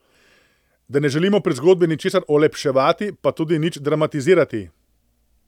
Da ne želimo pri zgodbi ničesar olepševati, pa tudi nič dramatizirati.